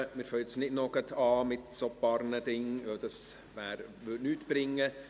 Wir fangen jetzt nichts mehr an, denn dies würde nichts bringen.